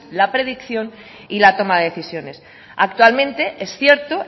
la predicción y la toma de decisiones actualmente es cierto